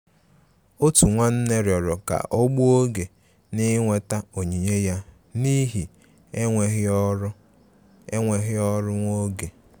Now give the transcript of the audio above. Òtù nwánnè rịọrọ ká ọ́ gbùo oge na-íwetà onyinye ya n'ihi enweghị ọrụ enweghị ọrụ nwa oge.